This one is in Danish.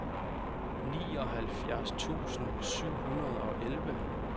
nioghalvfjerds tusind syv hundrede og elleve